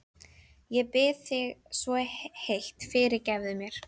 Ég bið þig svo heitt: Fyrirgefðu mér.